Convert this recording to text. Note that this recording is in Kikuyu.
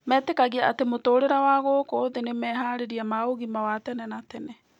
Metĩkagia atĩ mũtũũrĩre wa gũkũ thĩ nĩ meharĩria ma ũgima wa tene na tene.